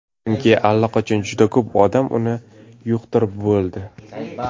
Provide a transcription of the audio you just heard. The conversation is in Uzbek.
Chunki allaqachon juda ko‘p odam uni yuqtirib bo‘ldi.